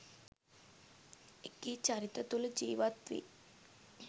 එකී චරිත තුල ජීවත් වී